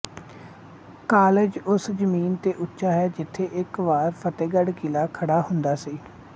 college ਉਸ ਜ਼ਮੀਨ ਤੇ ਉੱਚਾ ਹੈ ਜਿਥੇ ਇੱਕ ਵਾਰ ਫਤਿਹਗੜ੍ਹ ਕਿਲ੍ਹਾ ਖੜ੍ਹਾ ਹੁੰਦਾ ਸੀ